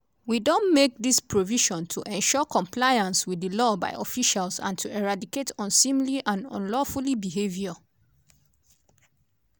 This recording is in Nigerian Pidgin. "we don make dis provision to ensure compliance with di law by officials and to eradicate unseemly and unlawful behavior.